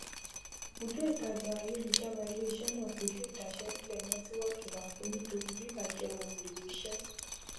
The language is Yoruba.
bùdó ìtajà ayélujára ileiṣẹ náà kojú ìdaṣẹsílẹ nẹtíwọkì rámpẹ nítorí bibàjẹ ohunèlò iṣẹ